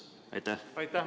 Aitäh!